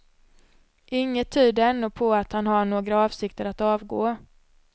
Inget tyder ännu på att han har några avsikter att avgå.